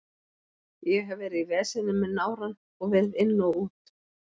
Ég hef verið í veseni með nárann og verið inn og út.